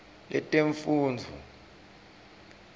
letemfundvo